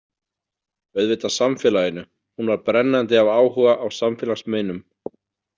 Auðvitað samfélaginu, hún var brennandi af áhuga á samfélagsmeinum.